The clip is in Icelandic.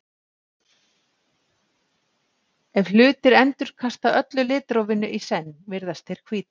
ef hlutir endurkasta öllu litrófinu í senn virðast þeir hvítir